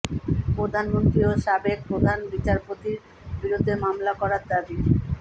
প্রধানমন্ত্রী ও সাবেক প্রধান বিচারপতির বিরুদ্ধে মামলা করার দাবি